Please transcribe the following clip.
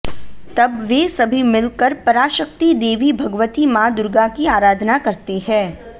तब वे सभी मिलकर पराशक्ति देवी भगवती मां दुर्गा की आराधना करते हैं